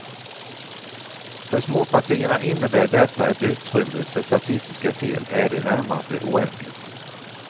För småpartierna innebär detta att utrymmet för statistiska fel är i det närmaste oändligt.